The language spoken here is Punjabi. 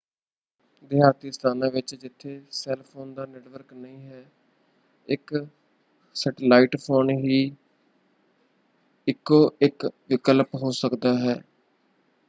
ਦਿਹਾਤੀ ਸਥਾਨਾਂ ਵਿੱਚ ਜਿੱਥੇ ਸੈੱਲ ਫੋਨ ਦਾ ਨੈੱਟਵਰਕ ਨਹੀਂ ਹੈ ਇਕ ਸੈਟਲਾਈਟ ਫੋਨ ਹੀ ਇਕੋ ਇਕ ਵਿਕਲਪ ਹੋ ਸਕਦਾ ਹੈ।